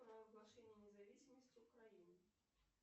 провозглашение независимости украины